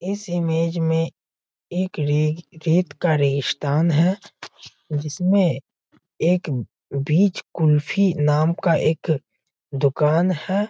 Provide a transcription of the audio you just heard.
इस इमेज में एक रेग रेत का रेगिशतान हैं जिसमें एक बीच कुल्फी नाम का एक दूकान हैं।